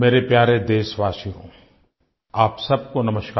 मेरे प्यारे देशवासियो आप सबको नमस्कार